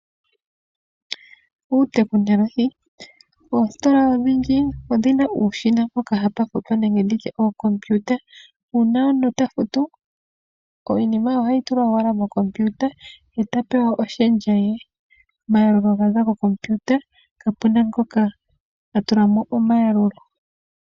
Uutekinolohi. Oositola odhindji odhina uushina mpoka hapa futwa nenge nditye okompiuta. Uuna omuntu ta futu iinima ohayi tulwa owala mokompiuta eta pewa oshendja ye. Omayalulo oga za kokompiuta kapuna ngoka a tulamo omayalulo.